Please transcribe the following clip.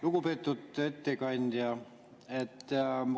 Lugupeetud ettekandja!